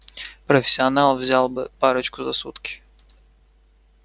профессионал взял бы парочку за сутки